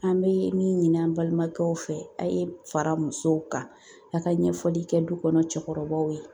An bɛ min ɲini an balimakɛw fɛ a' ye fara musow kan a ka ɲɛfɔli kɛ du kɔnɔ cɛkɔrɔbaw ye